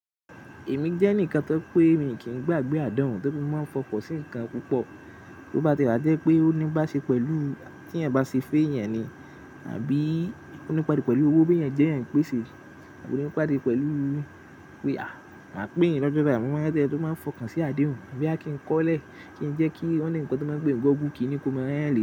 Èmi jẹ́ ẹnìkan tó pé mi kì í gbàgbé àdéhùn tóri mo máa n fọkàn sí ǹkan púpọ̀. Tó bá ti e wá jẹ́ pé ó ní bá ṣe pẹ̀lú tí eeyan bá ṣe fe eeyan ni, àbí ó ní pedu pẹ̀lú owó bí ẹ̀ jẹ́ ẹ̀ ń pèsè, àbí ó ní pàdé pẹ̀lú pé à, máa pe yin in lọ́jọ́ bayi, mo máa de maa n fọkàn sí àdéhùn. Boya kì n kọ́lẹ́, kì n jẹ́ kí oni nǹkan tó máa ń pe ni google kì ni kó máa ran yan.